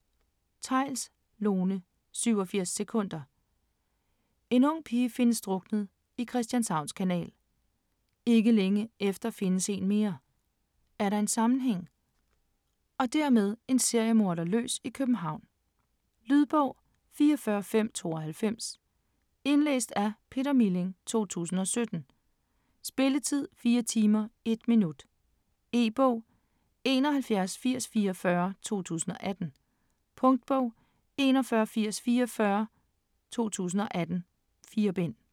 Theils, Lone: 87 sekunder En ung pige findes druknet i Christianshavns Kanal. Ikke længe efter findes en mere. Er der en sammenhæng - og dermed en seriemorder løs i København? Lydbog 44592 Indlæst af Peter Milling, 2017. Spilletid: 4 timer, 1 minut. E-bog: 718044 2018. Punktbog: 418044 2018. 4 bind.